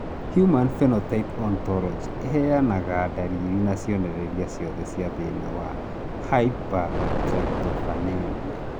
Human Phenotype Ontology ĩheanaga ndariri na cionereria ciothe cia thĩna wa Hypertryptophanemia.